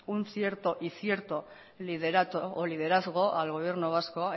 un cierto y cierto liderato o liderazgo al gobierno vasco